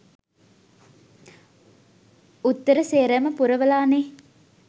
උත්තර සේරම පුරවලානේ